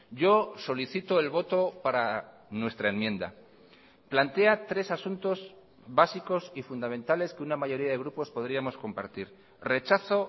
yo solicito el voto para nuestra enmienda plantea tres asuntos básicos y fundamentales que una mayoría de grupos podríamos compartir rechazo